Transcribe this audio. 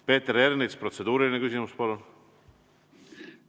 Peeter Ernits, protseduuriline küsimus, palun!